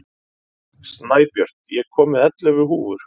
Snæbjört, ég kom með ellefu húfur!